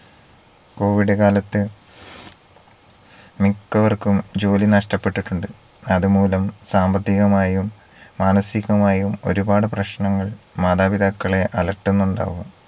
covid കാലത്ത് മിക്കവർക്കും ജോലി നഷ്ടപ്പെട്ടിട്ടുണ്ട് അത് മൂലം സാമ്പത്തികമായും മാനസികമായും ഒരുപാട് പ്രശ്നങ്ങൾ മാതാപിതാക്കളെ അലട്ടുന്നുണ്ടാവും